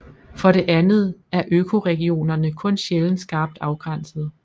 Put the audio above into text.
For det andet er økoregionerne kun sjældent skarpt afgrænsede